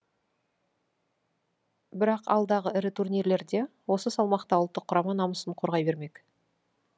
бірақ алдағы ірі турнирлерде осы салмақта ұлттық құрама намысын қорғай бермек